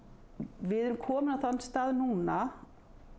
við erum komin á þann stað núna